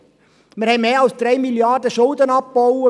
Wir haben mehr als 3 Mrd. Franken Schulden abgebaut.